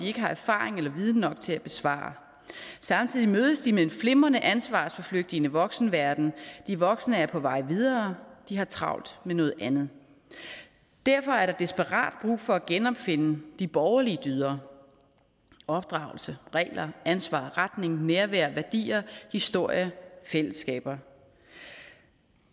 ikke har erfaring eller viden nok til at besvare samtidig mødes de med en flimrende ansvarsforflygtigende voksenverden de voksne er på vej videre og de har travlt med noget andet derfor er der desperat brug for at genopfinde de borgerlige dyder opdragelse regler ansvar retning nærvær værdier historie fællesskaber